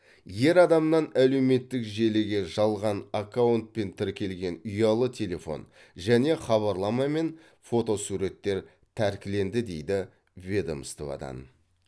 ер адамнан әлеуметтік желіге жалған аккаунтпен тіркелген ұялы телефон және хабарлама мен фотосуреттер тәркіленді дейді ведомстводан